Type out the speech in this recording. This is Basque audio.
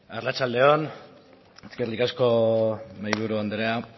arratsalde on eskerrik asko mahaiburu andrea